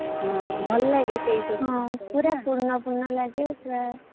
ହଁ ଭଲ ଲାଗେ ସେଇ ସବୁ ହୁଁ ପୁରା ପୂର୍ଣ୍ଣ ପୂର୍ଣ୍ଣ ଲାଗେ।